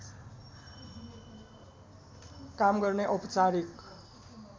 काम गर्ने औपचारिक